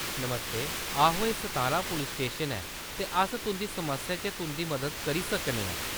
नमस्ते, आहो एह्‌‌ Satara police station ऐ ते अस तुंʼदी समस्या च तुंʼदी मदद करीसकदे न।